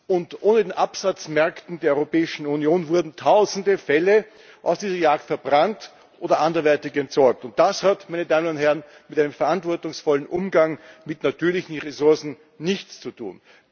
Und ohne die Absatzmärkte der Europäischen Union wurden tausende Felle aus dieser Jagd verbrannt oder anderweitig entsorgt, und das hat, meine Damen und Herren, mit einem verantwortungsvollen Umgang mit natürlichen Ressourcen nichts zu tun.